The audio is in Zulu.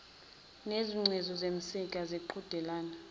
nezingcezu zimsika zimqedela